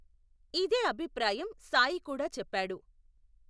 ఇదే అభిప్రాయం సాయి కూడా చెప్పాడు.